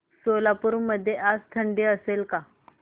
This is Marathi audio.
सोलापूर मध्ये आज थंडी असेल का